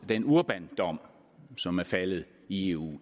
den urbandom som er faldet i eu